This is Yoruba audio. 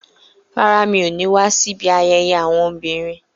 Rárá, mi ò ní wá síbi ayẹyẹ àwọn obìnrin